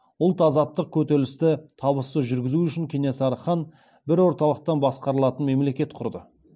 ұлт азаттық күресті табысты жүргізу үшін кенесары хан бір орталықтан басқарылатын мемлекет құрды